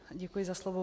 Děkuji za slovo.